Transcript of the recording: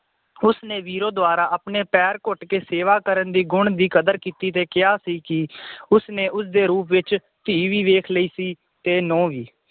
ਉਸਨੇ ਵੀਰੋ ਦਵਾਰਾ ਆਪਣੇ ਪੈਰ ਘੁੱਟ ਕੇ ਸੇਵਾ ਕਰਨ ਦੇ ਗੁਣ ਦੀ ਕਦਰ ਕੀਤੀ ਤੇ ਕਿਹਾ ਸੀ ਕਿ ਉਸਨੇ ਉਸਦੇ ਰੂਪ ਵਿਚ ਧੀ ਵੀ ਵੇਖ ਲਈ ਸੀ ਤੇ ਨੂੰਹ ਵੀ